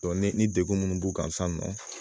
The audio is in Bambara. dɔn ni ni degu munnu b'u kan sisan nɔ